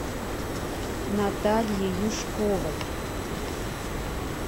натальи юшковой